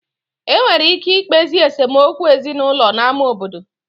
E nwere ike ikpezi esemokwu ezinaụlọ n'ámá obodo